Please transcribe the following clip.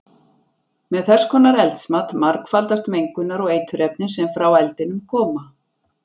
Með þess konar eldsmat margfaldast mengunar- og eiturefnin sem frá eldinum koma.